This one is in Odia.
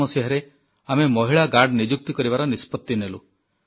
2007 ମସିହାରେ ଆମେ ମହିଳା ଗାର୍ଡ଼ ନିଯୁକ୍ତି କରିବାର ନିଷ୍ପତ୍ତି ନେଲୁ